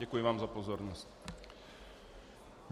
Děkuji vám za pozornost.